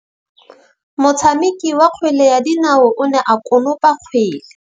Motshameki wa kgwele ya dinaô o ne a konopa kgwele.